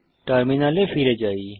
টার্মিনালে ফিরে যাই